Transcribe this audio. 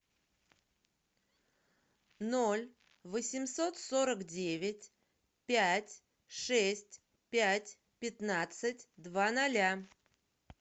ноль восемьсот сорок девять пять шесть пять пятнадцать два ноля